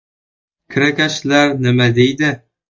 Kirakashlar nima deydi?